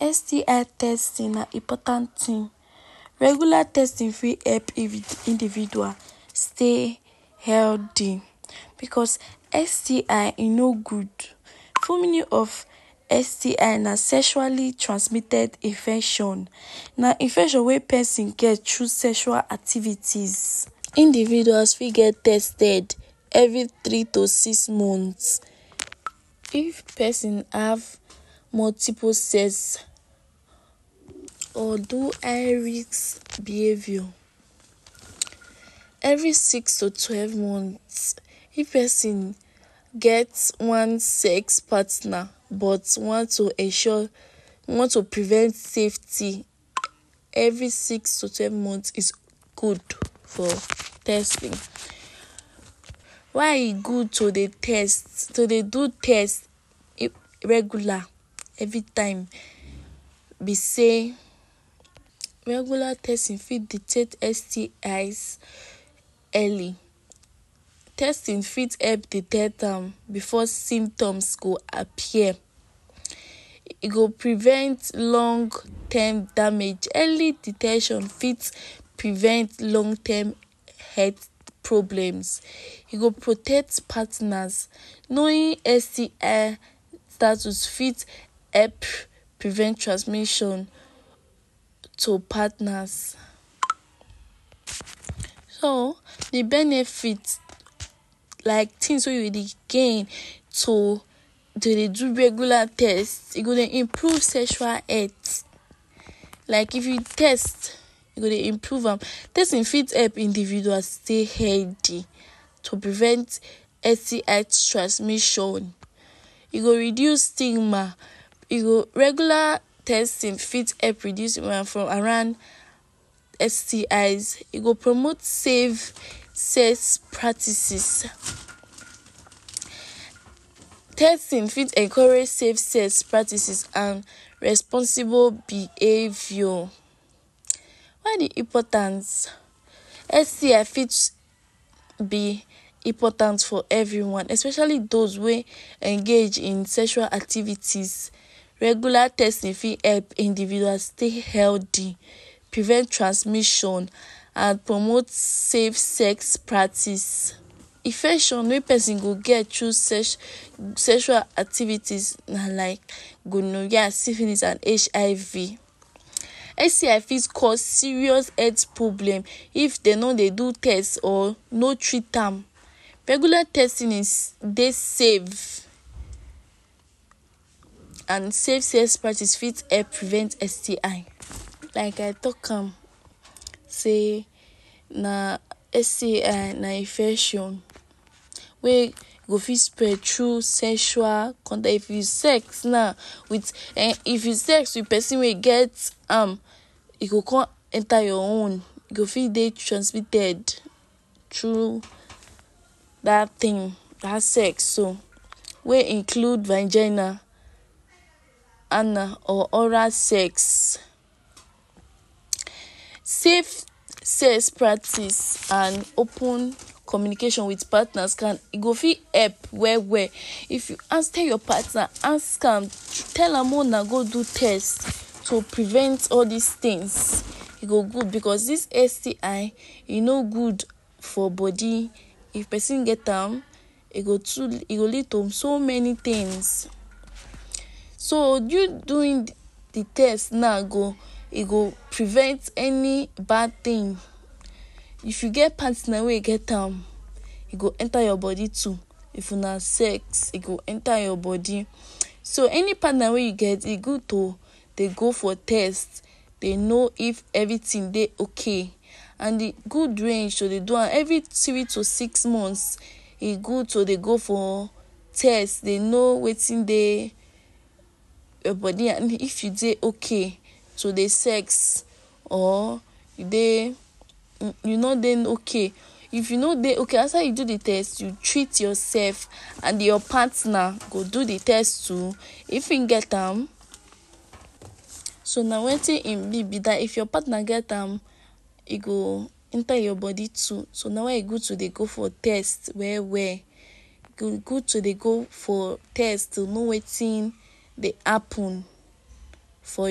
STI testing na important thing. Regular testing fit help individual stay healthy because STI, e no good. Full meaning of STI na sexually transmitted infection. Na infection wey person get through sexual activities. Individuals fit get tested every three to six months. If person have multiple sex or do behavior, every six to twelve months. If person get one sex partner but want to ensure, want to prevent safety, every six to twelve months is good for testing. Why e good to dey test? To dey do test regular everytime be sey regular testing fit detect STIs early. Testing fit help detect am before symptoms go appear, e go prevent long term damage. Early detection fit prevent long term health problems. E go protect partners. Knowing STI status fit help prevent transmission to partners. So de benefit, like things wey dey gain to dey do regular test. E go dey improve sexual health. Like if you test, e go dey improve am. Testing fit help individuals stay healthy, to prevent STI transmission. E go reduce stigma. E go, regular testing fit help reduce woman from around STIs. E go promote safe sex practices. Testing fit encourage safe sex practices and responsible behavior. Why e importance? STI fit be important for everyone especially those wey engage in sexual activities. Regular testing fit help individuals stay healthy, prevent transmission and promote safe sex practice. Infection wey person go get through sexual activities na like gonorrhea, syphilis and HIV. STI fit cause serious health problem if dey no dey do test or no treat am. Regular testing dey safe and safe sex practice fit help prevent STI. Like I talk am sey na STI na infection wey go fit spread through sexual. If you sex now wit um if you sex wit person wey e get am, e go come enter your own. You go fit dey transmitted through dat thing, dat sex so wey include vagina, anal or oral sex. Safe sex practice and open communication wit partners can e go fit help well well. If you your partner, ask am, tell am make una go do test to prevent all dis things. E go good because dis STI, e no good for body if person get am. E go too, e go lead to so many things. So you doing de de test now go, e go prevent any bad thing. If you get partner wey e get am, e go enter your body too. If una sex, e go enter your body. So any partner wey you get, e good to dey go for test, dey know if everything dey okay and de good range to dey am every three to six months. E good to dey go for test, dey know wetin dey your body and if you dey okay to dey sex or e dey, no dey okay. If you no dey okay, after you do de test, you treat yourself and your partner go do de test too. If im get am, so na wetin im be be dat. If your partner get am, e go enter your body too. So na why e good to dey go for test well well. E good to dey go for test, to know wetin dey happen for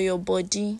your body.